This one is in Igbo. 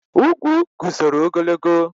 Ugwu guzoro ogologo.